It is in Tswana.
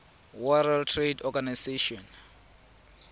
world trade organization